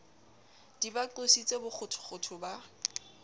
di ba qositse bokgothokgotho ba